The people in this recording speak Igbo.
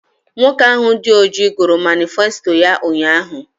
Nwoke ahụ dị ọjị gụrụ manịfesto ya ụnyaahụ